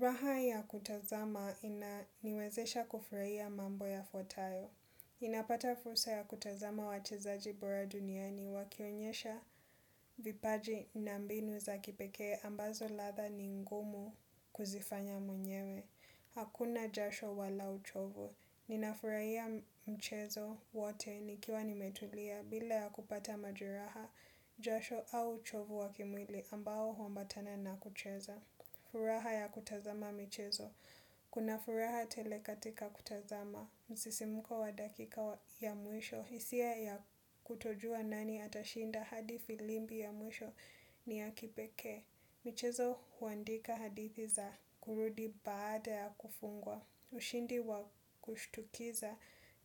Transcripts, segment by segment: Raha ya kutazama inaniwezesha kufurahia mambo yafuatayo. Ninapata fursa ya kutazama wachezaji bora duniani wakionyesha vipaji na mbinu za kipekee ambazo rather ningumu kuzifanya mwenyewe. Hakuna jasho wala uchovu. Ninafurahia mchezo wote nikiwa nimetulia bila ya kupata majeraha jasho au uchovu wakimwili ambao huambatana nakucheza. Furaha ya kutazama michezo. Kuna furaha tele katika kutazama msisimko wa dakika ya mwisho. Hisia ya kutojua nani atashinda hadi firimbi ya mwisho ni ya kipekee. Michezo huandika hadithi za kurudi baada ya kufungwa. Ushindi wa kushtukiza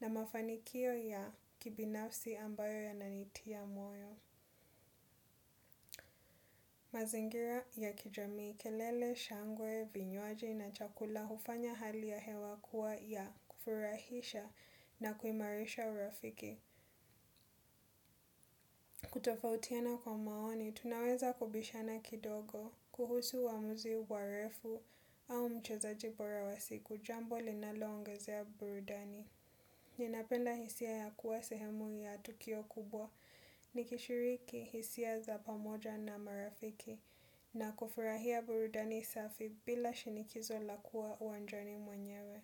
na mafanikio ya kibinafsi ambayo yananitia moyo. Mazingira ya kijamii, kelele, shangwe, vinywaji na chakula hufanya hali ya hewa kuwa ya kufurahisha na kuimarisha urafiki. Kutofautiana kwa maoni, tunaweza kubishana kidogo kuhusu uamuzi wa ref au mchezaji bora wa siku. Jambo linalo ongezea burudani. Ninapenda hisia ya kuwa sehemu ya tukio kubwa, nikishiriki hisia za pamoja na marafiki, na kufurahia burudani safi bila shinikizo la kuwa uwanjani mwenyewe.